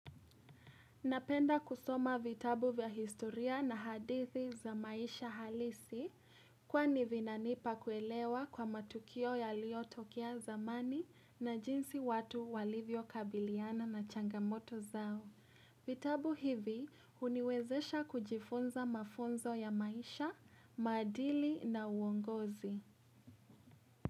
Napenda kusoma vitabu vya historia na hadithi za maisha halisi kwani vinanipa kuelewa kwa matukio yaliyotokea zamani na jinsi watu walivyo kabiliana na changamoto zao. Vitabu hivi uniwezesha kujifunza mafunzo ya maisha, madili na uongozi.